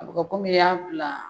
A bɛ kɔ kɔmi i y'a bila